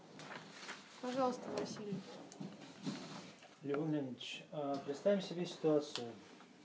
пожалуйста василий леон леонидович представим себе ситуацию